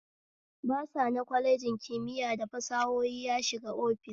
Basa na kwalejin kimiya da fasahohi ya shiga office